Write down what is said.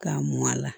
K'a mɔn a la